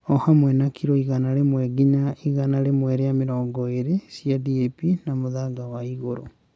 O hamwe na kiro igana rĩmwe nginya igana rĩmwe rĩa mĩrongo ĩrĩ cia DAP na mũthanga wa igũrũ.